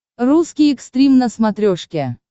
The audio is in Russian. русский экстрим на смотрешке